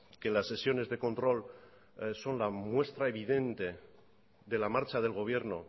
que las sesiones de control son la muestra evidente de la marcha del gobierno